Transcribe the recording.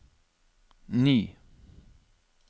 ny